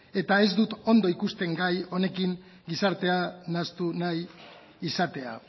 eta ez dut ondo ikusten gai honekin gizartea nahastu nahi izatea